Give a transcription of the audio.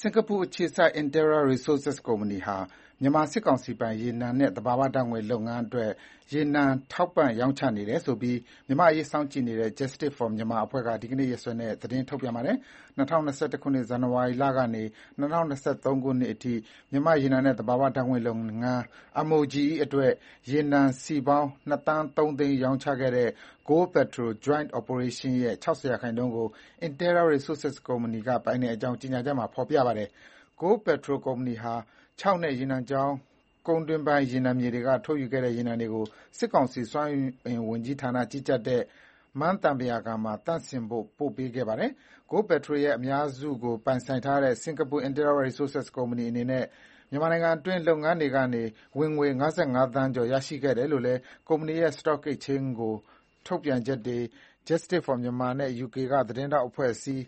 စင်္ကာပူအခြေစိုက် Interra Resources ကုမ္ပဏီဟာ မြန်မာစစ်ကောင်စီပိုင် ရေနံနဲ့ သဘာဝဓါတ်ငွေ့ လုပ်ငန်းတွေအတွက် ရေနံထောက်ပံ့ရောင်းချနေတယ်ဆိုပြီး မြန်မာ့အရေးစောင့်ကြည့်နေတဲ့ Justice for Myanmar အဖွဲ့က ဒီနေ့ရက်စွဲနဲ့ သတင်း ထုတ်ပြန်ပါတယ်။ ၂၀၂၁ ခုနှစ် ဇန်နဝါရီလကနေ ၂၀၂၃ နှစ်ကုန်အထိ မြန်မာ့ရေနံနဲ့ သဘာဝဓါတ်ငွေ့လုပ်ငန်း အတွက် ရေနံစည်ပေါင်း ၂ သန်း ၃ သိန်း ရောင်းချခဲ့တဲ့ Goldpertol Joint Operation ရဲ့ ၆၀ ရာခိုင်နှုန်းကို Interra Resources ကုမ္ပဏီဟာ ပိုင်ကြောင်း ကြေညာချက်မှာ ဖေါ်ပြပါတယ်။ Goldpetrol ကုမ္ပဏီဟာ ချောက်နဲ့ ရေနံချောင်း ကုန်းတွင်းပိုင်းရေနံမြေတွေက ထုတ်ယူခဲ့တဲ့ ရေနံတွေကို စစ်ကောင်စီ စွမ်းအင်ဝန်ကြီးဌာနကြီးကြပ်တဲ့ မန်းသံပုရာကန်မှာသန့်စင်ဖို့ ပေးပို့ခဲ့ပါတယ်။ Goldpetro ရဲ့ အများစုကိုပိုင်ဆိုင်ထားတဲ့ စင်္ကာပl Interra Resources ကုမ္ပဏီအနေနဲ့ မြန်မာနိုင်ငံအတွင်း လုပ်ငန်းတွေကနေ ဝင်ငွေ ၅၅ သန်းကျော် ရရှိခဲ့တယ်လို့လည်း ကုမ္ပဏီရဲ့ Stock Exchange ကို ထုတ်ပြန်ချက်တွေ၊ Justice for Myanmar နဲ့ ယူကေ သတင်းထောက်အဖွဲ့အစည်း